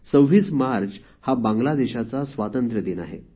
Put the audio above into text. २६ March हा बांगलादेशाचा स्वातंत्र्यदिन आहे